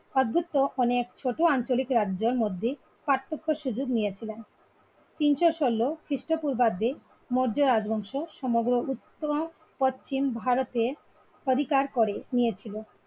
অদভুক্ত অনেক ছোট আঞ্চলিক রাজ্য র মধ্যে পার্থক্য শুধু নিয়েছিলেন তিনশো ষোল খ্রিষ্ট পূর্বা দে মৌর্য রাজবংশ সমগ্র উত্তর পশ্চিম ভারতের অধিকার করে নিয়েছিল